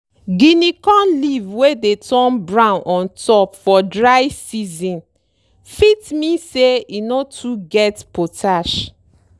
guinea corn leaf wey dey turn brown ontop for dry season fit mean say e no too get potash.